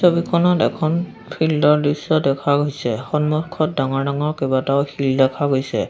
ছবিখনত এখন ফিল্ড ৰ দৃশ্য দেখা গৈছে সন্মুখত ডাঙৰ ডাঙৰ কেইবাটাও শিল দেখা গৈছে।